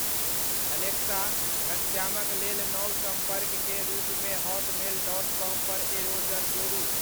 Alexa घनश्यामक लेल नव संपर्ककें रूप मे हॉट मेल डॉट कॉम पर एरोजर जोड़ू।